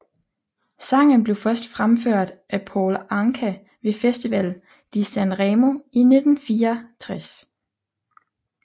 Sangen blev først fremført live af Paul Anka ved Festival di San Remo i 1964